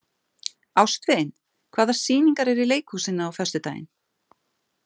Ástvin, hvaða sýningar eru í leikhúsinu á föstudaginn?